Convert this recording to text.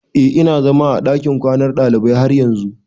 Eh ina zama a dakin kwanan dalibai har yanzun.